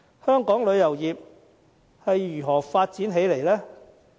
香港旅遊業是如何發展起來呢？